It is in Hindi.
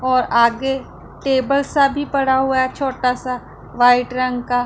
और आगे टेबल सा भी पड़ा हुआ है छोटा सा वाइट रंग का--